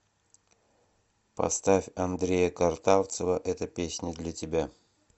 поставь андрея картавцева эта песня для тебя